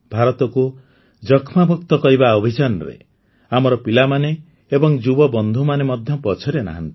ଭାରତକୁ ଯକ୍ଷ୍ମାମୁକ୍ତ କରିବା ଅଭିଯାନରେ ଆମର ପିଲାମାନେ ଏବଂ ଯୁବବନ୍ଧୁମାନେ ମଧ୍ୟ ପଛରେ ନାହାନ୍ତି